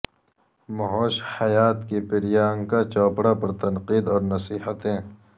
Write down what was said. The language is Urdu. مہوش حیات کی پریانکا چوپڑا پر تنقید اور نصیحتیں